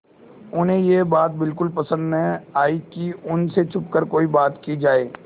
उन्हें यह बात बिल्कुल पसन्द न आई कि उन से छुपकर कोई बात की जाए